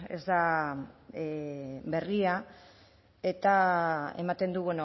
ez da berria eta ematen du